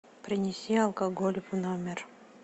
принеси алкоголь в номер